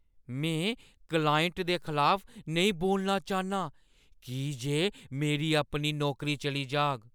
में क्लाइंट दे खलाफ नेईं बोलना चाह्न्नां की जे मेरी अपनी नौकरी चली जाह्‌ग।